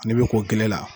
N'i bɛ ko giriya